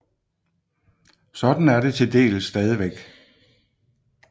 Sådan er det til dels stadigvæk